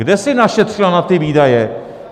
Kde si našetřila na ty výdaje?